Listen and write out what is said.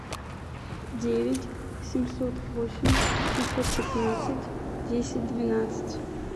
девять семьсот восемь семьсот пятнадцать десять двенадцать